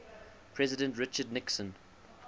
president richard nixon